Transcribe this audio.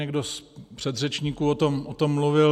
Někdo z předřečníků o tom mluvil.